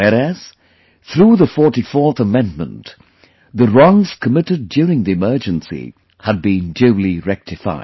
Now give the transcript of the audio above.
Whereas, through the 44th Amendment, the wrongs committed during the Emergency had been duly rectified